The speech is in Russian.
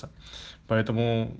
поэтому